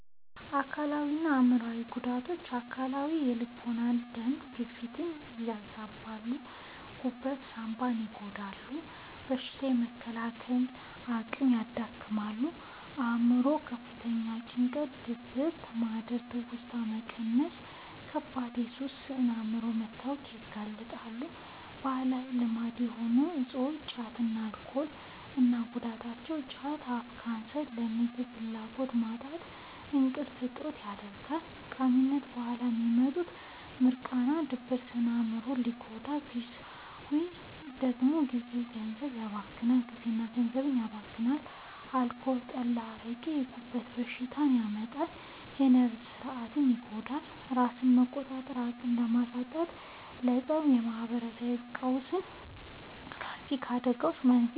አካላዊና አእምሯዊ ጉዳቶች፦ አካላዊ፦ የልብና የደም ግፊትን ያዛባሉ፣ ጉበትና ሳንባን ይጎዳሉ፣ በሽታ የመከላከል አቅምን ያዳክማሉ። አእምሯዊ፦ ለከፍተኛ ጭንቀት፣ ድብርት፣ ማህደረ-ትውስታ መቀነስና ለከባድ የሱስ ስነ-አእምሯዊ መታወክ ያጋልጣሉ። ባህላዊ ልማድ የሆኑ እፆች (ጫትና አልኮል) እና ጉዳታቸው፦ ጫት፦ ለአፍ ካንሰር፣ ለምግብ ፍላጎት ማጣትና ለእንቅልፍ እጦት ይዳርጋል። ከቃሚነቱ በኋላ የሚመጣው «ሚርቃና» (ድብርት) ስነ-አእምሮን ሲጎዳ፣ ግዢው ደግሞ ጊዜና ገንዘብን ያባክናል። አልኮል (ጠላ፣ አረቄ)፦ የጉበት በሽታ ያመጣል፣ የነርቭ ሥርዓትን ይጎዳል፤ ራስን የመቆጣጠር አቅምን በማሳጣትም ለፀብ፣ ለማህበራዊ ቀውስና ለትራፊክ አደጋዎች መንስኤ ይሆናል።